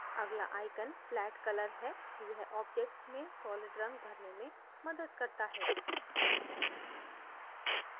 अगला icon flat color है यह object में solid रंग भरने में मदद करता है